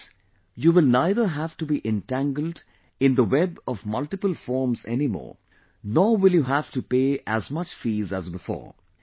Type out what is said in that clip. With this, you will neither have to be entangled in the web of multiple forms anymore, nor will you have to pay as much fees as before